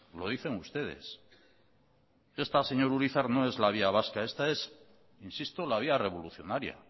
lo dicen ustedes esta señor urizar no es la vía vasca esta es insisto la vía revolucionaria